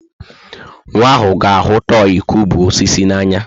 Nwa ahụ ga-ahụ tọị kụubụ osisi n'anya.